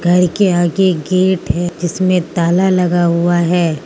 घर के आगे गेट है जिसमें ताला लगा हुआ है।